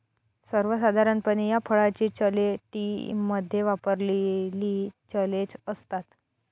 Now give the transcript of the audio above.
सर्वसाधारणपणे या फळाची चले टी मध्ये वापरलेली चलेचं असतात